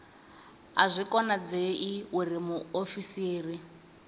a zwi konadzei uri muofisiri